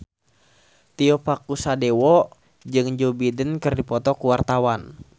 Tio Pakusadewo jeung Joe Biden keur dipoto ku wartawan